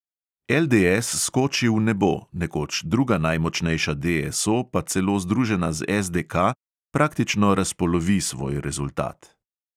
LDS skoči v nebo, nekoč druga najmočnejša DSO pa celo združena z SDK praktično razpolovi svoj rezultat.